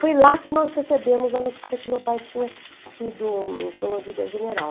Foi lá que nós recebemos a notícia que meu pai tinha sido promovido a general.